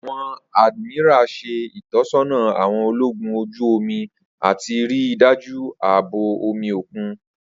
Awọn Admiral ṣe itọsọna awọn ologun oju omi ati rii daju aabo omi okun.